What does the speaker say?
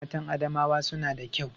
Matan Adamawa suna da kyau